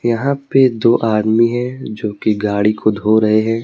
यहां पे दो आदमी हैं जो की गाड़ी को धो रहे है।